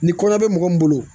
Ni kɔnɔ bɛ mɔgɔ min bolo